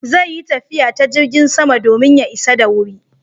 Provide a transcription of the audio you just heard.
Zai yi tafiya ta jirgin sama domin ya isa da wuri